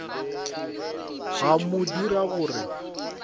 go mo dira gore a